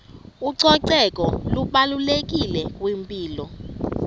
ucoceko lubalulekile kwimpilo